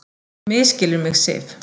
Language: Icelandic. Þú misskilur mig, Sif.